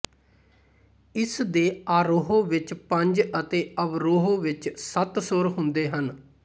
ਇਸ ਦੇ ਆਰੋਹ ਵਿੱਚ ਪੰਜ ਅਤੇ ਅਵਰੋਹ ਵਿੱਚ ਸੱਤ ਸੁਰ ਹੁੰਦੇ ਹਨ